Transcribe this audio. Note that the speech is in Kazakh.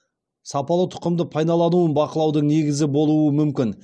сапалы тұқымды пайдалануын бақылаудың негізі болуы мүмкін